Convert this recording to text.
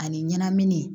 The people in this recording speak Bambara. Ani ɲɛnamini